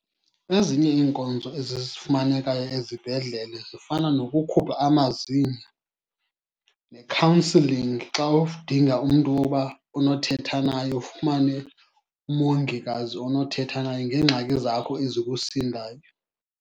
Ezinye iinkonzo ezi zifumanekayo ezibhedlele zifana nokukhupha amazinyo nekhawunsilingi xa umntu woba onothetha naye, ufumane umongikazi onothetha naye ngeengxaki zakho ezikusindayo.